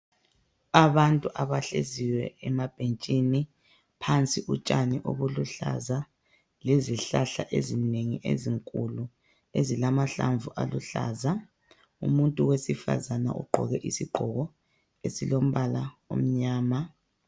Abantu abahleziyo emabhentshini phansi kotshani obuluhlaza lezihlahla ezinengi ezinkulu ezilamahlamvu aluhlaza, umuntu wesifazana ogqoke isigqoko esilombala omnyama.